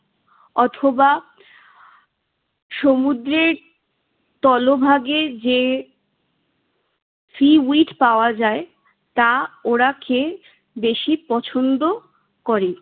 অথবা সমুদ্রের তলভাগে যে seaweed পাওয়া যায় তা ওরা খেয়ে বেশি পছন্দ করে।